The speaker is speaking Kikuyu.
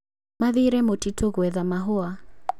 Mathire mũtitũ gwetha mahũa